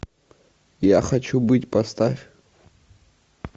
я хочу быть поставь